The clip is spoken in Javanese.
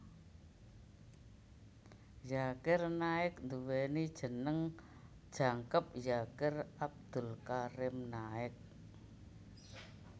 Zakir Naik nduwèni jeneng jangkep Zakir Abdul Karim Naik